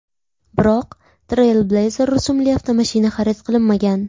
Biroq Trailblazer rusumli avtomashina xarid qilinmagan.